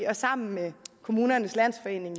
og sammen med kommunernes landsforening